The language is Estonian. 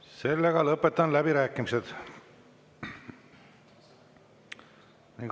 Sellega lõpetan läbirääkimised.